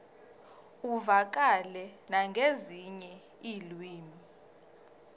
uvakale nangezinye iilwimi